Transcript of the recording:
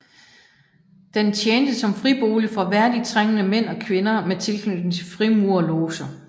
Den tjente som fribolig for værdigt trængende mænd og kvinder med tilknytning til frimurerloger